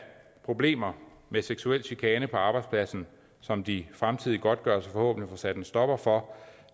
problemer med seksuel chikane på arbejdspladsen som de fremtidige godtgørelser forhåbentlig får sat en stopper for